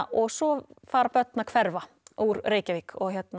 og svo fara börn að hverfa úr Reykjavík